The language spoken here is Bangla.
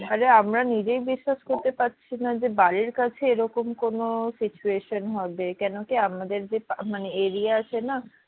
আরে আমরা নিজেই বিশ্বাস করতে পারছি না যে বাড়ির কাছে এইরকম কোনো situation হবে কেন কি আমাদের যে area আছে না